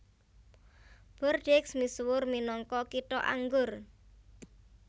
Bordeaux misuwur minangka Kitha Anggur